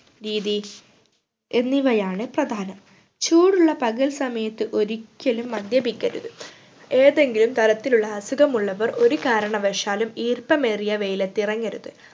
രീതി എന്നിവയാണ് പ്രധാനം ചൂടുള്ള പകൽ സമയത്ത് ഒരിക്കലും മദ്യപിക്കരുത് ഏതെങ്കിലും തരത്തിലുള്ള അസുഖമുള്ളവർ ഒരു കാരണവശാലും ഈർപ്പമേറിയ വെയിലത്ത് ഇറങ്ങരുത്